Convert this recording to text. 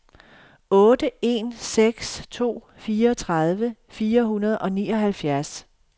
otte en seks to fireogtredive fire hundrede og nioghalvfjerds